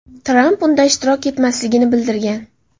Tramp unda ishtirok etmasligini bildirgan .